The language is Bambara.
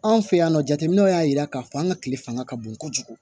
Anw fɛ yan nɔ jateminɛw y'a jira k'a fɔ an ka tile fanga ka bon kojugu